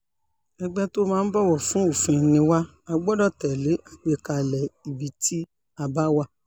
ẹgbẹ́ tó máa ń bọ̀wọ̀ fún òfin ni wà á gbọ́dọ̀ tẹ̀lé àgbékalẹ̀ ibi tí a bá wà